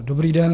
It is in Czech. Dobrý den.